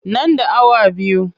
Nan da awa biyu.